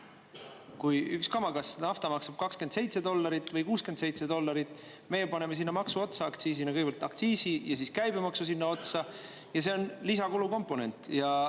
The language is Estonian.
Kui üks kamakas nafta maksab 27 dollarit või 67 dollarit, meie paneme sinna maksu otsa aktsiisina, kõigepealt aktsiisi ja siis käibemaksu sinna otsa, see on lisakulukomponent.